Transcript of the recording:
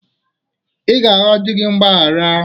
Ị ga-arịọ di gị mgbaghara